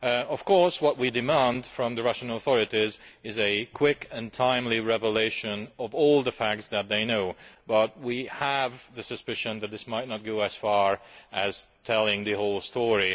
Of course, what we demand from the Russian authorities is the swift and timely revelation of all the facts they know, but we have the suspicion that this may not extend to telling the whole story.